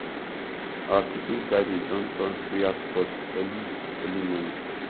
our kitchen garden don turn prayer spot early early morning